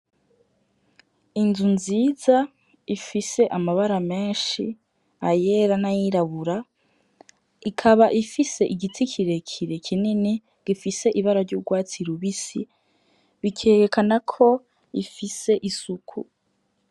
Inzu nziza ifise amabara menshi ayera n'ayirabura ,ikaba ifise igiti kirekire kinini gifise ibara ry'urwatsi rubisi bikerekana ko ifise isuku.